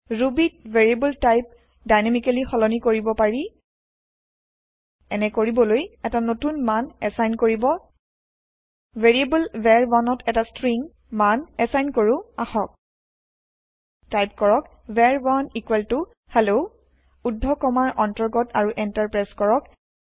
ৰুবীত variable type dynamically সলনি কৰিব পাৰি এনে কৰিবলৈ এটা নতুন মান এচাইন কৰিব ভেৰিয়েব্ল var1ত এটা ষ্ট্ৰিং মান এচাইন কৰো আহক টাইপ কৰক var1hello ঊৰ্ধ কমাৰ অন্তৰ্গত আৰু এন্টাৰ প্ৰেছ কৰক